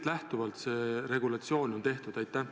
Millest lähtuvalt see regulatsioon on tehtud?